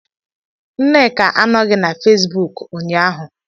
Nneka anọghị na Fesbuk ụnyahụ